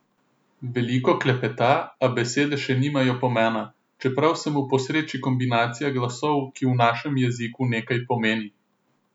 Veliko klepeta, a besede še nimajo pomena, čeprav se mu posreči kombinacija glasov, ki v našem jeziku nekaj pomeni.